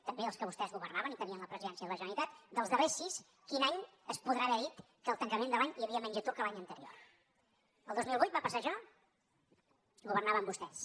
també dels que vostès governaven i tenien la presidència de la generalitat dels darrers sis quin any es podrà haver dit que al tancament de l’any hi havia menys atur que l’any anterior el dos mil vuit va passar això governaven vostès